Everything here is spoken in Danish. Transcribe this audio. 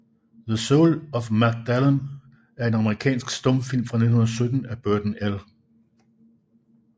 The Soul of a Magdalen er en amerikansk stumfilm fra 1917 af Burton L